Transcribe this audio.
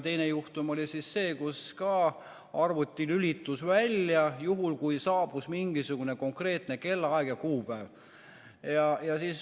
Teine juhtum oli see, kus arvuti lülitus välja juhul, kui saabus mingisugune konkreetne kellaaeg ja kuupäev.